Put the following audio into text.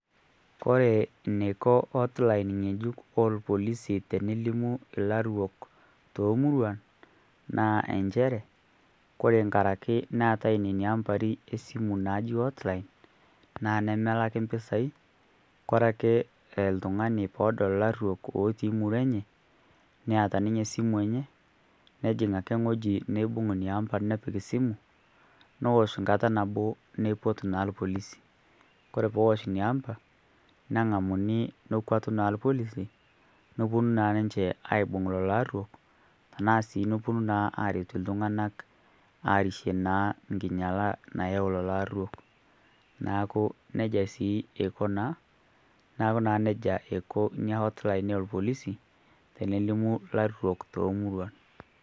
Kore neiko hotline ng'ejuk oo lpolisi tenelimu larruok too muruan naa enchere kore nkaraki neata nenia ampari e simu naaji hotline naa nemelaki mpisai kore ake ltung'ani poodol larruok ootii murua enye neata ninye simu enye nejing' ake ng'oji neibung' nia ampa nepik simu nowosh nkata nabo neipot naa lpolisi, kore poowosh nia ampa neng'amuni nokuatu naa lpolisi nepuonu naa ninche aaibung' lolo arruo tanaa sii nopuonu naa aaretu ltung'ana aarishie naa nkinyala nayau lolo arruo. Naaku sii eiko naa, naaku naa neja eiko nia hotline ee lpolisi tenelimu larruok toomuruan.